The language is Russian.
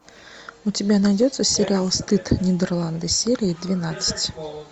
у тебя найдется сериал стыд нидерланды серия двенадцать